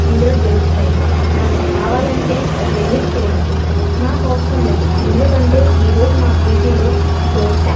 ఇందులో దొరుకుతాయ్ మనక్ కావాలంటే వెళ్ళి తినచ్చు నాకవసరం లేదు ఎందుకంటే ఈరోజు మా పేజీ లో దోశ .